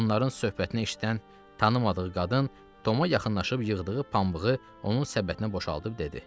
Onların söhbətini eşidən tanımadığı qadın Toma yaxınlaşıb yığdığı pambığı onun səbətinə boşaldıb dedi: